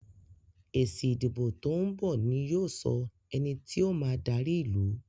èsì ìdìbò to'n bọ ní yóò sọ ení tíó ma dari ilú.